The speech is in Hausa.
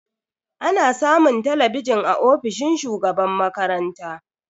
Ana samun talabijin a ofishin shugaban makaranta.